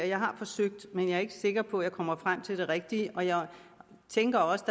jeg har forsøgt men jeg er ikke sikker på at jeg kommer frem til det rigtige og jeg tænker også